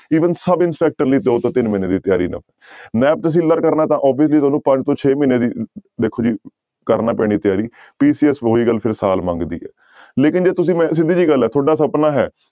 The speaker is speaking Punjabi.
Even ਸਬ ਇੰਸਪੈਕਟਰ ਲਈ ਜਾਓ ਤਾਂ ਤਿੰਨ ਮਹੀਨੇ ਦੀ ਤਿਆਰੀ ਨਾਲ ਨੈਬ ਤਹਿਸੀਲਦਾਰ ਕਰਨਾ ਤਾਂ obviously ਤੁਹਾਨੂੰ ਪੰਜ ਤੋਂ ਛੇ ਮਹੀਨੇ ਦੀ ਦੇਖੋ ਜੀ ਕਰਨਾ ਪੈਣੀ ਤਿਆਰੀ PCS ਉਹੀ ਗੱਲ ਫਿਰ ਸਾਲ ਮੰਗਦੀ ਹੈ, ਲੇਕਿੰਨ ਜੇ ਤੁਸੀਂ ਮੈਂ ਸਿੱਧੀ ਜਿਹੀ ਗੱਲ ਹੈ ਤੁਹਾਡਾ ਸਪਨਾ ਹੈ